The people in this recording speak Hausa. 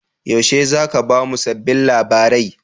Yaushe za ku ba mu sabbin labarai?